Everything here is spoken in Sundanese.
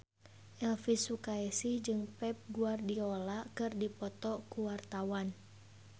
Elvy Sukaesih jeung Pep Guardiola keur dipoto ku wartawan